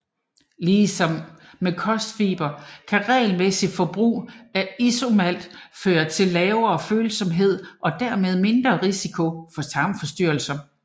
Lige som med kostfibre kan regelmæssigt forbrug af isomalt føre til lavere følsomhed og dermed mindre risiko for tarmforstyrrelser